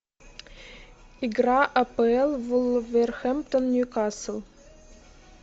игра апл вулверхэмптон ньюкасл